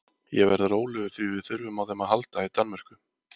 Ég verð rólegur því að við þurfum á þeim að halda í Danmörku.